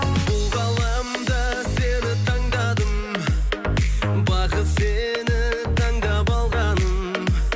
бұл ғаламда сені таңдадым бағым сені таңдап алғаным